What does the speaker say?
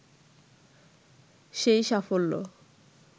সেই সাফল্য